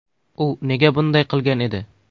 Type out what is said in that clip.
U nega bunday qilgan edi?.